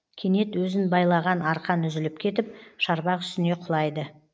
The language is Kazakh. кенет өзін байлаған арқан үзіліп кетіп шарбақ үстіне құлайды